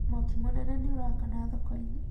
Mwaki mũnene nĩũraakana thoko-inĩ